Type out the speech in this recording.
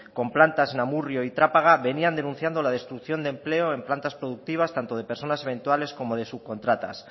con plantas en amurrio y trápaga venían denunciando la destrucción de empleo en plantas productivas tanto de personas eventuales como de subcontratas